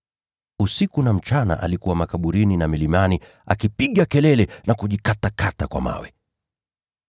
Usiku na mchana alikuwa makaburini na milimani, akipiga kelele na kujikatakata kwa mawe.